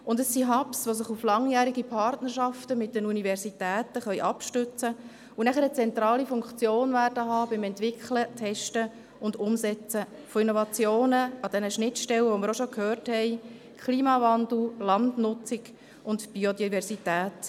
Es sind Hubs, die sich auf langjährige Partnerschaften mit den Universitäten abstützen können und danach eine zentrale Funktion haben werden, bei der Entwicklung, Testung und Umsetzung von Innovationen an jenen Schnittstellen, von denen wir bereits gehört haben: Klimawandel, Landnutzung und Biodiversität.